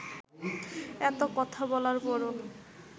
এত কথা বলার পরও